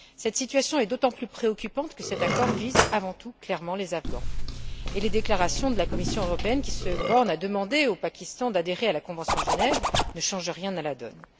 Cette situation est d'autant plus préoccupante que cet accord vise, avant tout, clairement les Afghans, et les déclarations de la Commission européenne, qui se borne à demander au Pakistan d'adhérer à la convention de Genève, ne changent rien à la donne.